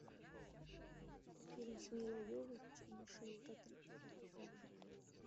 фильм с миллой йовович и мишель родригес про зомби